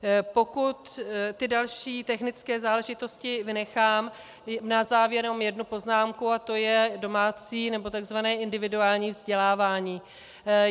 Pokud ty další technické záležitosti vynechám, na závěr jenom jednu poznámku, a to je domácí nebo takzvané individuální vzdělávání.